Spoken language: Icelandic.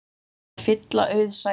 að fylla auð sæti.